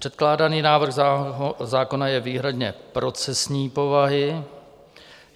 Předkládaný návrh zákona je výhradně procesní povahy.